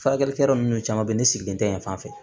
Furakɛlikɛ yɔrɔ minnu caman bɛ ye ne sigilen tɛ yan fan fɛ